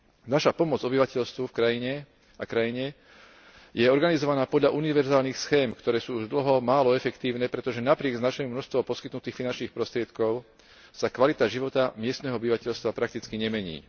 Naša pomoc obyvateľstvu a krajine je organizovaná podľa univerzálnych schém, ktoré sú už dlho málo efektívne, pretože napriek značnému množstvu poskytnutých finančných prostriedkov sa kvalita života miestneho obyvateľstva prakticky nemení.